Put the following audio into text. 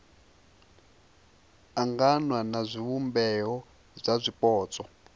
anganywa na zwivhumbeo zwa zwipotso